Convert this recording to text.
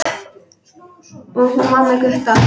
Og hún var með Gutta!